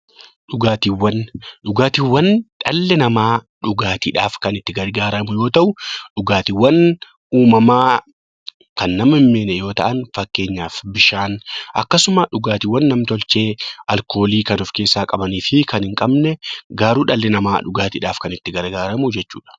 Dhugaatiiwwan. Dhugaatiiwwan dhalli namaa dhugaatiidhaaf kan itti gargaaramu yoo ta'u; dhugaatiiwwan uumamaa kan nama hin miine yoo ta'an; fakkeenyaaf bishaan akkasumas dhugaatiiwwan nam-tolchee alkoolii kan of keessaa qabanii fi kan hin qabne garuu dhalli namaa dhugaatiidhaaf kan itti gargaaramu jechuudha.